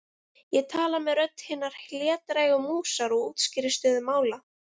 Ég tala með rödd hinnar hlédrægu músar og útskýri stöðu mála.